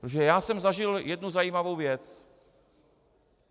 Protože já jsem zažil jednu zajímavou věc.